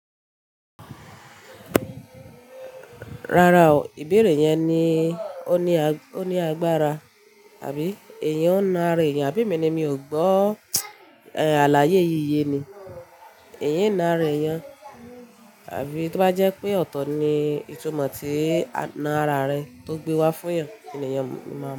Rárá o, ìbéèrè yẹn ni ó ní agbára. Àbí èèyàn ń na ara èèyàn àbí? Èmi ni mi ò gbọ́. Àlàyé yíi ye ni. Èèyàn ń na ara èèyàn. Àfí tí ó bá jẹ́ pé ọ̀tọ̀ ni ìtumọ̀ tí na ara rẹ tó gbé wá fún eyan, n ni eyàn máa mọ̀